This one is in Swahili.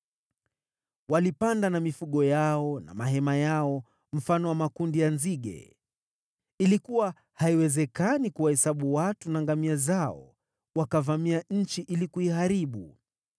Walipanda na mifugo yao na mahema yao, mfano wa makundi ya nzige. Ilikuwa haiwezekani kuwahesabu watu na ngamia zao; wakavamia nchi ili kuiharibu.